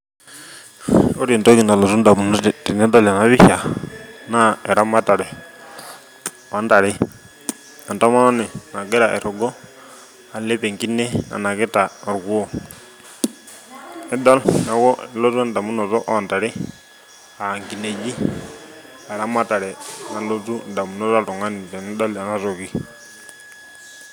Ore entoki nalotu indamunot tenidol enapisha naa eramatare ontare, entomoni nagira airrugo alep enkine onakita orkuo, tenidol nelotu endamunoto ontare aa nkineji, eramatare nalotu indamunot tenidol enatoki.